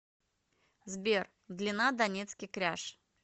сбер длина донецкий кряж